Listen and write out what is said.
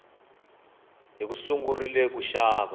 hi sungurile ku haxa